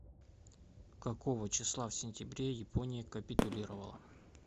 какого числа в сентябре япония капитулировала